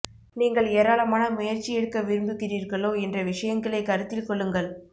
நீங்கள் ஏராளமான முயற்சி எடுக்க விரும்புகிறீர்களோ என்ற விஷயங்களை கருத்தில் கொள்ளுங்கள்